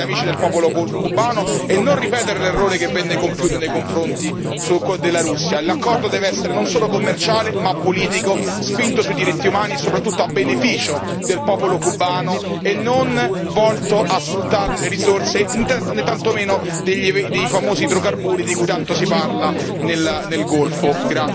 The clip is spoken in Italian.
Il nostro dovere quindi è quello di assistere gli amici del popolo cubano e non ripetere l'errore che venne compiuto nei confronti della Russia l'accordo deve essere non solo commerciale ma anche politico e orientato sui diritti umani, soprattutto a beneficio del popolo cubano e non volto a sfruttarne le risorse, né tantomeno i famosi idrocarburi di cui tanto si parla nel Golfo.